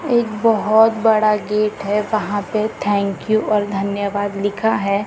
एक बहोत बड़ा गेट है वहां पे थैंक्यू और धन्यवाद लिखा है।